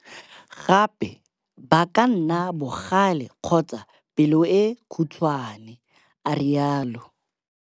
Gape ba ka nna bogale kgotsa pelo e khutshwane, a rialo.